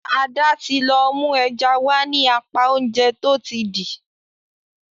Ada tí lọ mú ẹja wá ní apá Oúnjẹ tó ti dì.